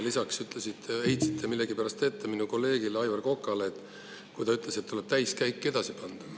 Lisaks aga heitsite millegipärast minu kolleegile Aivar Kokale ette seda, et ta ütles, et edasi tuleb täiskäik sisse panna.